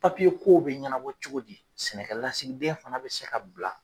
kow bɛ ɲɛnabɔ cogo di sɛnɛkɛ lasigiden fana bɛ se ka bila.